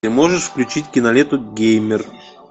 ты можешь включить киноленту геймер